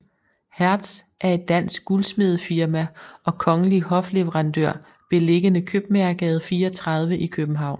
Hertz er et dansk guldsmedefirma og kongelig hofleverandør beliggende Købmagergade 34 i København